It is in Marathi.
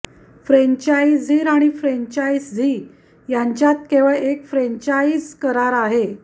फ्रान्चाइझीर आणि फ्रेंचायझी यांच्यात केवळ एक फ्रॅन्चाइज करार आहे